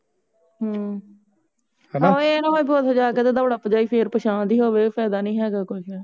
ਹਮ ਆਹੋ ਇਹ ਨਾ ਹੋਵੇ ਉਥੇ ਜਾ ਕੇ ਦੋੜਾ ਪਜਾਈ ਫੇਰ ਪਸ਼ਾ ਦੀ ਹੋਵੇ ਫਾਇਦਾ ਹੇਗਾ ਕੋਈ